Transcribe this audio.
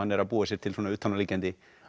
er að búa sér til utanáliggjandi